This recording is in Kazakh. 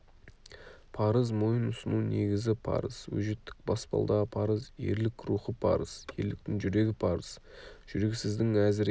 парыз мойын ұсыну негізі парыз өжеттік баспалдағы парыз ерлік рухы парыз ерліктің жүрегі парыз жүрексіздің әзірейілі